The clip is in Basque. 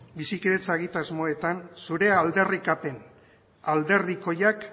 bizikidetza egitasmoetan zure aldarrikapen alderdikoiak